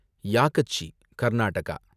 யாகச்சி, Karnataka